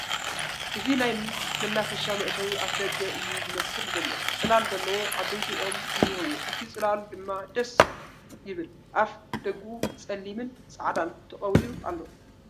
እዚ ናይ መናፈሻ መእተዊ ኣፍ ደገ እዩ ዝመስል ዘሎ ፡ ፅለል ዘለዎ ዓበይቲ ቖም እንሄዎ እቲ ፅላሉ ድማ ደስ ይብል ኣፍ ደጊኡ ፀሊምን ፃዕዳን ተቐቢኡ ኣሎ ፡